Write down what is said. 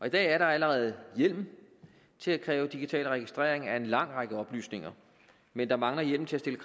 i dag er der allerede hjemmel til at kræve digital registrering af en lang række oplysninger men der mangler hjemmel til